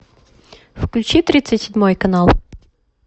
включи тридцать седьмой канал